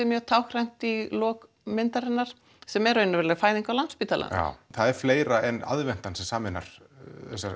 mjög táknrænt í lok myndarinnar sem er raunveruleg fæðing á Landspítalanum já það er fleira en aðventan sem sameinar þessar